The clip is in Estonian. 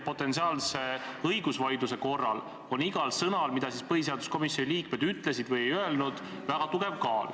Potentsiaalse õigusvaidluse korral on igal sõnal, mida põhiseaduskomisjoni liikmed ütlesid või ei öelnud, väga tugev kaal.